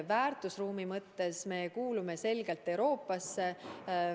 Väärtusruumi poolest me kuulume selgelt Euroopasse.